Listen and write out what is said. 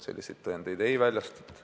Selliseid tõendeid ei väljastata.